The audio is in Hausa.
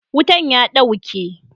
Wutan ya dauke.